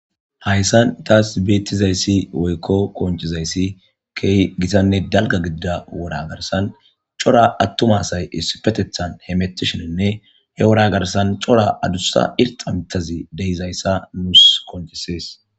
Haysan thaassi beeththizayssi woykko qonccizayssi keehi githanne dalgganne gidira woraa garssan cora aththuma asay issippetheththan hemeththishenne he woraa garssan daro adussa irxxa miththazi de7izayssa nuus qonccissees.